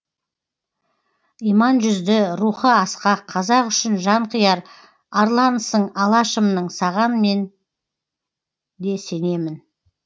иман жүзді рухы асқақ қазақ үшін жан қияр арланысың алашымның саған мен де сенемін